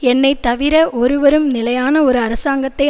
என்னை தவிர ஒருவரும் நிலையான ஒரு அரசாங்கத்தை